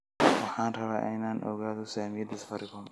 waxaan rabaa in aan ogaado saamiyada safaricom